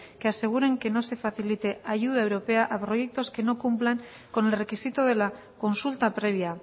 que aseguren que no se facilite ayuda europea a proyectos que no cumplan con el requisito de la consulta previa